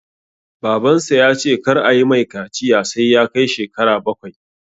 Babansa ya ce kar ayi mai kaciya sai ya kai shekara bakwai